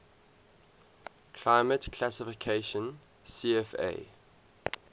climate classification cfa